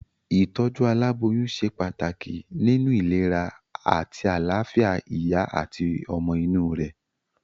Ìtójú aláboyún se pàtàkì nínu ìlera àti àláfìa ìyá àti ọmọ inú rè